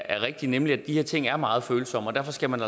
er rigtig nemlig at de her ting er meget følsomme og derfor skal man